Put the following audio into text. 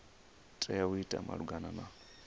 tea u ita malugana na